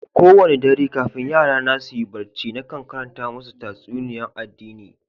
Kowani dare kafin yara na su yi barci nakan karanta masu tatsuniya'n addini.